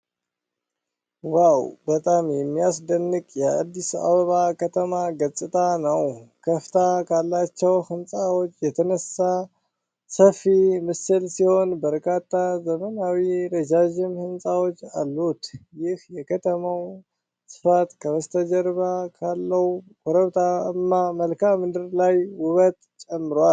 ዋው! በጣም የሚያስደንቅ የአዲስ አበባ ከተማ ገጽታ ነው። ከፍታ ካላቸው ሕንጻዎች የተነሳው ሰፊ ምስል ሲሆን፣ በርካታ ዘመናዊና ረዣዥም ሕንጻዎች አሉ። ይህ የከተማው ስፋት ከበስተጀርባ ባለው ኮረብታማ መልክዓ ምድር ላይ ውበት ጨምሯል።